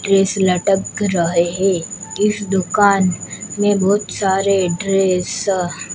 dress लटक रहे हैं इस दुकान में बहोत सारे ड्रेस स--